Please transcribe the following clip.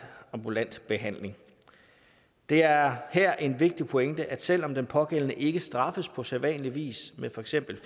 ambulant behandling det er her en vigtig pointe at selv om den pågældende ikke straffes på sædvanligvis med for eksempel